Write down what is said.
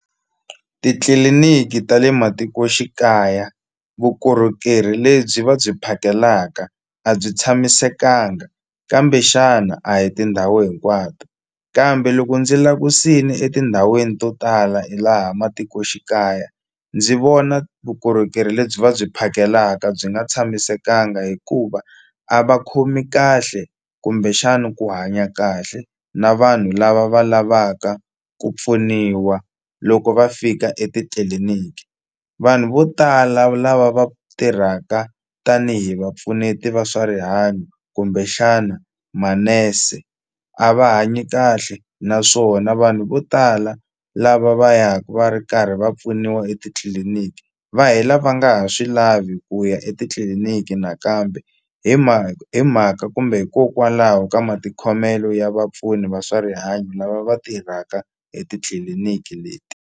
Titliliniki ta le matikoxikaya vukorhokeri lebyi va byi phakelaka a byi tshamisekanga kambe xana a hi tindhawu hinkwato kambe loko ndzi langusini etindhawini to tala hi laha matikoxikaya ndzi vona vukorhokeri lebyi va byi phakelaka byi nga tshamisekanga hikuva a va khomi kahle kumbexani ku hanya kahle na vanhu lava va lavaka ku pfuniwa loko va fika etitliliniki vanhu vo tala lava va tirhaka tanihi vapfuneti va swa rihanyo kumbexana manese a va hanyi kahle naswona vanhu vo tala lava va ya ku va ri karhi va pfuniwa etitliliniki va hela va nga ha swi lavi ku ya etitliliniki nakambe hi hi mhaka kumbe hikokwalaho ka matikhomelo ya vapfuni va swa rihanyo lava va tirhaka etitliliniki leti.